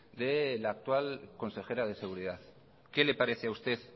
de la actual consejera de seguridad qué le parece a usted